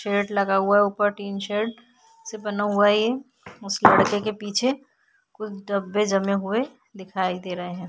Shade लगा हुआ है ऊपर टिन शेड से बना हुआ है ये उस लड़के के पीछे कुछ डब्बे जमे हुए दिखाई दे रहे हैं।